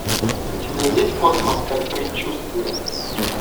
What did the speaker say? у тебя есть космос как предчувствие